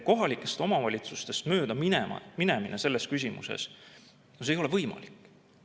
Kohalikest omavalitsustest möödaminemine selles küsimuses ei ole võimalik.